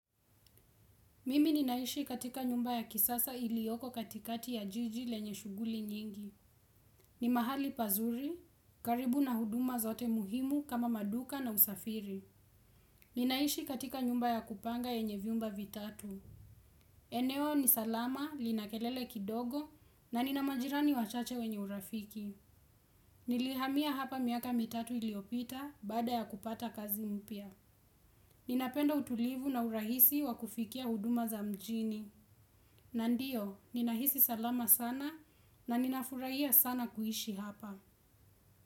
Mimi ninaishi katika nyumba ya kisasa ilioko katikati ya jiji lenye shuguli nyingi. Ni mahali pazuri, karibu na huduma zote muhimu kama maduka na usafiri. Ninaishi katika nyumba ya kupanga yenye viumba vitatu. Eneo ni salama, linakelele kidogo na nina majirani wachache wenye urafiki. Nilihamia hapa miaka mitatu iliopita baada ya kupata kazi mpya. Ninapenda utulivu na urahisi wa kufikia huduma za mjini. Na ndio, ninahisi salama sana na ninafurahia sana kuishi hapa.